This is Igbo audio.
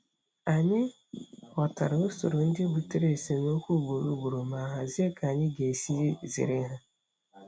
Anyị ghọtara usoro ndị butere esemokwu ugboro ugboro ma hazie ka anyị ga-esi zere ha.